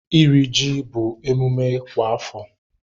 Iri ji bụ emume kwa afọ.